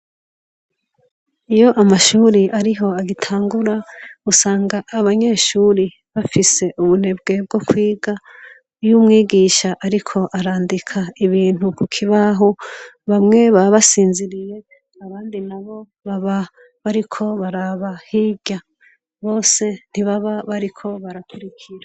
Iyo amashure ariho agitangura usanga abanyeshure bafise ubunebwe bwo kwiga, iyo umwigisha ariko arandika ibintu kukibaho bamwe baba basinziriye abandi nabo baba bariko baraba hirya, bose ntibaba bariko barakurikira.